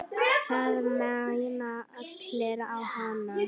Það mæna allir á hana.